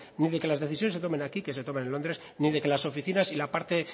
ni de que las decisiones se tomen aquí que se tomen en londres ni de que las oficinas y la parte